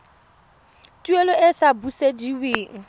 tuelo e e sa busediweng